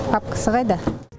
папкысы қайда